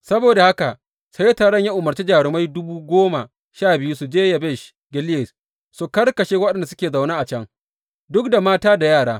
Saboda haka sai taron ya umarci jarumai dubu goma sha biyu su je Yabesh Gileyad su karkashe waɗanda suke zaune a can, duk da mata da yara.